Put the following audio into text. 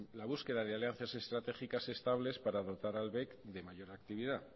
la búsqueda de alianzas estratégicas estables para dotar al bec de mayor actividad